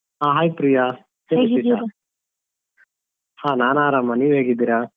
ಹ hai ಪ್ರಿಯಾ ಹ ನಾನ್ ಆರಾಮ ನೀವ್ ಹೇಗಿದ್ದೀರಾ?